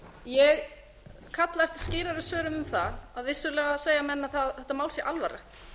ég kalla eftir skýrari svörum um það að vissulega segja menn að þetta mál sé alvarlegt